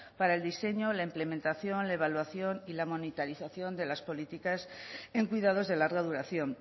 para el diseño la implementación la evaluación y la monitorización de las políticas en cuidados de larga